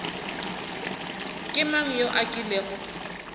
ke mang yo a kilego